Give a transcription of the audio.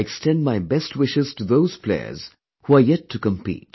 I extend my best wishes to thoseplayers who are yet to compete